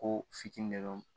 Ko fitini de don